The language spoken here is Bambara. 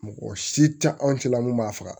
Mɔgɔ si tɛ anw cɛla mun b'a faga